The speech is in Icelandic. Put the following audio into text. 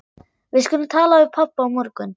Við skulum tala við pabba á morgun.